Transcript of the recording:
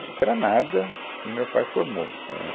O sítio era nada, e meu pai formou, éh.